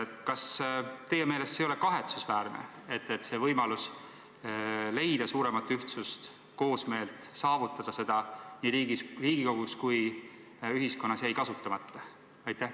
Kas teie meelest see ei ole kahetsusväärne, et võimalus leida suuremat ühtsust, koosmeelt, saavutada seda nii Riigikogus kui ühiskonnas laiemalt jäi kasutamata?